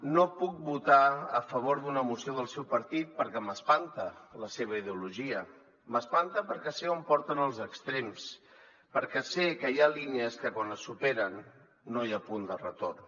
no puc votar a favor d’una moció del seu partit perquè m’espanta la seva ideolo·gia m’espanta perquè sé on porten els extrems perquè sé que hi ha línies que quan es superen no hi ha punt de retorn